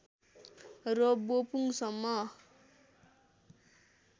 र बोपुङ सम्म